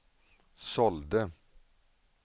sålde